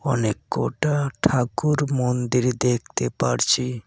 অনেককটা ঠাকুর মন্দির দেখতে পারছি।